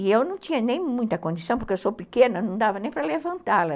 E eu não tinha nem muita condição, porque eu sou pequena, não dava nem para levantá-la.